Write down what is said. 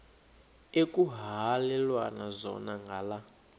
ekuhhalelwana zona ngala